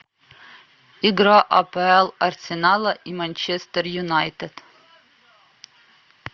игра апл арсенала и манчестер юнайтед